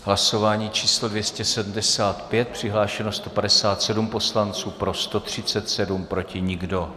Hlasování číslo 275, přihlášeno 157 poslanců, pro 137, proti nikdo.